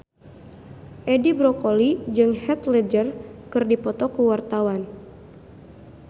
Edi Brokoli jeung Heath Ledger keur dipoto ku wartawan